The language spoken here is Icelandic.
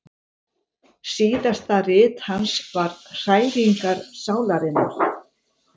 Síðasta rit hans var Hræringar sálarinnar.